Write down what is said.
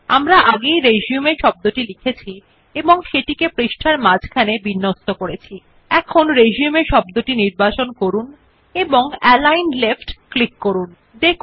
আমরা আগেই শব্দ রিসিউম টাইপ করে পৃষ্ঠার কেন্দ্র থেকে এটি প্রান্তিককৃ সুতরাং দেয় শব্দ নির্বাচন করে অ্যালিগন লেফ্ট ক্লিক করুন